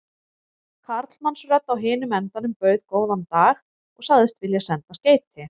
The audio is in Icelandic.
Karlmannsrödd á hinum endanum bauð góðan dag og sagðist vilja senda skeyti.